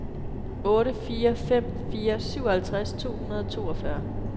otte fire fem fire syvoghalvtreds to hundrede og toogfyrre